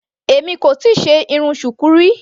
Èmi kò tíì ṣe irun Shuku rí.